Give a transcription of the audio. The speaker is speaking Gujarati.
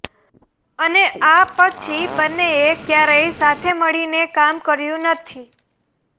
અને આ પછી બંનેએ ક્યારેય સાથે મળીને કામ કર્યુ નથી